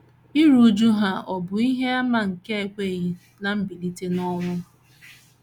Iru újú ha ọ̀ bụ ihe àmà nke ekweghị ná mbilite n’ọnwụ?